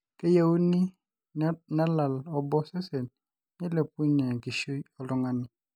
keyieuni nelal obo osesen peilepunje enkishui oltungani